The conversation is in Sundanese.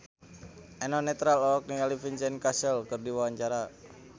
Eno Netral olohok ningali Vincent Cassel keur diwawancara